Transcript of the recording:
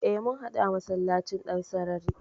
E, mun haɗu a masallacin Dansarari.